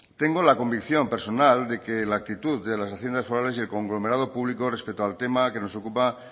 tengo la convicción personal que la actitud de las haciendas forales y el conglomerado público respecto al tema que nos ocupa